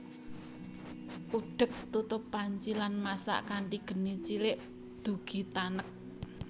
Udhek tutup panci lan masak kanthi geni cilik dugi tanek